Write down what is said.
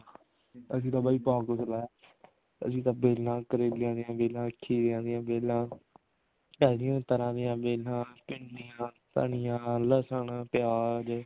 ਅਸੀਂ ਤਾਂ ਬਾਈ ਬਹੁਤ ਕੁੱਝ ਲਾਇਆ ਅਸੀਂ ਤਾਂ ਬੇਲਾਂ ਕਰੇਲਿਆਂ ਦੀ ਬੇਲਾਂ ਘੀਆ ਦੀਆਂ ਬੇਲਾਂ ਉਹਦੀਆਂ ਤਰ੍ਹਾਂ ਦੀਆਂ ਬੇਲਾਂ ਭਿੰਡੀਆਂ ਧਨੀਆ ਲਸਣ ਪਿਆਜ ਇਹ